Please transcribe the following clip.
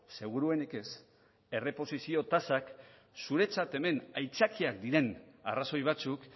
seguruenik ez erreposizio tasak zuretzat hemen aitzakiak diren arrazoi batzuk